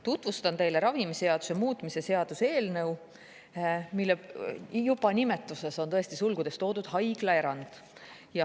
Tutvustan teile ravimiseaduse muutmise seaduse eelnõu, mille nimetuses on tõesti sulgudes toodud "haiglaerand".